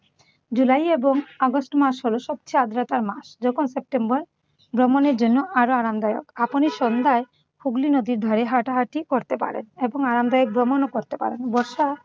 জুলাই এবং আগস্ট মাস হলো সবচেয়ে আর্দ্রতার মাস। যখন সেপ্টেম্বর ভ্রমণের জন্য আরো আরামদায়ক। আপনি সন্ধ্যায় হুগলী নদীর ধারে হাঁটাহাঁটি করতে পারেন এবং আরামদায়ক ভ্রমণও করতে পারেন। বর্ষা